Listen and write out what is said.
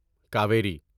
Kaveri